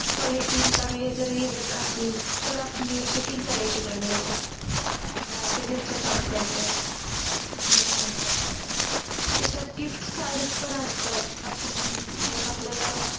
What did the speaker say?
Quality चांगली जर हे देत असेल तर आपल्याला Cheating करायची काय गरज आहे हम्म ते त्याचं काम करतात हम्म त्याच्यात Gift card पण असतात आपण आपल्याला